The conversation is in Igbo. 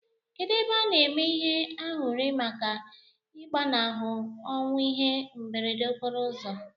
Kedu ebe ana eme ihe anyuri maka igbanahu onwu ihe mberede okporo uzọ?